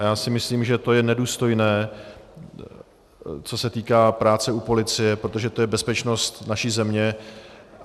A já si myslím, že to je nedůstojné, co se týká práce u policie, protože to je bezpečnost naší země.